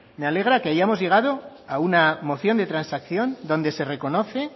me alegra que hayamos llegado a una moción de transacción donde se reconoce